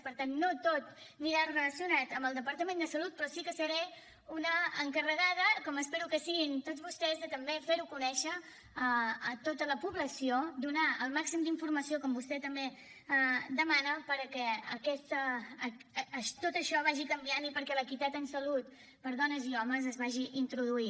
per tant no tot anirà relacionat amb el departament de salut però sí que seré una encarregada com espero que ho siguin tots vostès de també fer ho conèixer a tota la població donar el màxim d’informació com vostè també demana perquè tot això vagi canviant i perquè l’equitat en salut per a dones i homes es vagi introduint